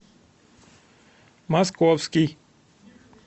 московский